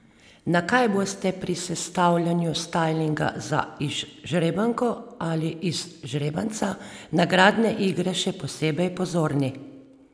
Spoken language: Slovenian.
Na kaj boste pri sestavljanju stajlinga za izžrebanko ali izžrebanca nagradne igre še posebej pozorni?